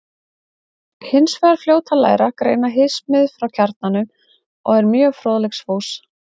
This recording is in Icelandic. Hún er hins vegar fljót að læra, greina hismið frá kjarnanum og er mjög fróðleiksfús.